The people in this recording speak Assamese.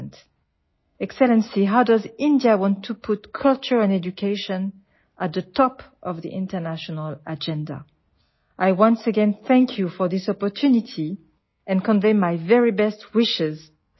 মহামান্য ভাৰতে সংস্কৃতি আৰু শিক্ষাক আন্তৰ্জাতিক কাৰ্যসূচীৰ শীৰ্ষত কেনেকৈ ৰাখিব বিচাৰে এই সুযোগৰ বাবে মই আপোনাক আকৌ এবাৰ ধন্যবাদ জনাইছো আৰু ভাৰতৰ জনসাধাৰণক আপোনাৰ জৰিয়তে মোৰ শুভেচ্ছা জ্ঞাপন কৰিছো